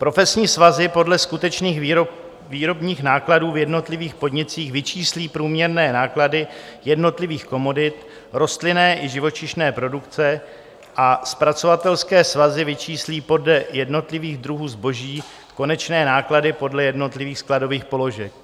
Profesní svazy podle skutečných výrobních nákladů v jednotlivých podnicích vyčíslí průměrné náklady jednotlivých komodit rostlinné i živočišné produkce a zpracovatelské svazy vyčíslí podle jednotlivých druhů zboží konečné náklady podle jednotlivých skladových položek.